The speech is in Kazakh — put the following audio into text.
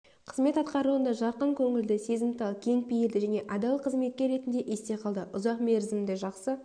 қызмет атқаруында жарқын көңілді сезімтал кең пейілді және адал қызметкер ретінде есте қалды ұзақ мерзімді жақсы